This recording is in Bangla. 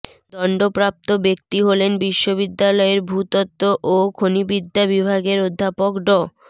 দণ্ডপ্রাপ্ত ব্যক্তি হলেন বিশ্ববিদ্যালয়ের ভূতত্ত্ব ও খনিবিদ্যা বিভাগের অধ্যাপক ড